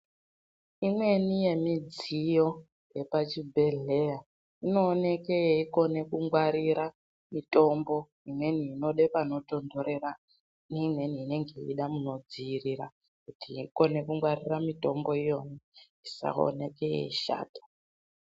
Imweni yemudziyo yepachibhedhleya inooneke yeikone kungwarira mitombo imweni inode panotontorera neimweni inenge yeida munodziya kuti ikone kungwarira mutombo iyona isaoneke yeishata.